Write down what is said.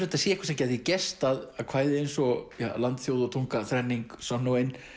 þetta sé eitthvað sem gæti gerst að kvæði eins og ja Land þjóð og tunga þrenning sönn og ein